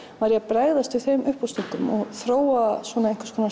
var ég að bregðast við þeim uppástungum og þróa einhvers konar